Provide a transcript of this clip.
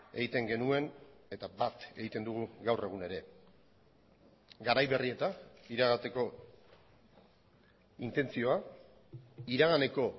egiten genuen eta bat egiten dugu gaur egun ere garai berrietan iragateko intentzioa iraganeko